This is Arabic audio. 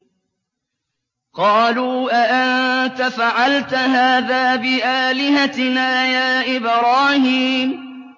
قَالُوا أَأَنتَ فَعَلْتَ هَٰذَا بِآلِهَتِنَا يَا إِبْرَاهِيمُ